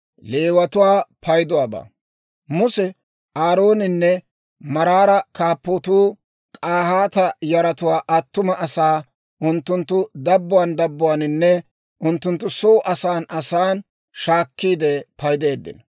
Muse Aarooninne maabaraa kaappatuu K'ahaata yaratuwaa attuma asaa unttunttu dabbuwaan dabbuwaaninne unttunttu soo asan asan shaakkiide paydeeddino.